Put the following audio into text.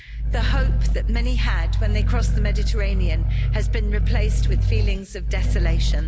The hope that many had when they crossed the Mediterranean has been replaced with feelings of desolation.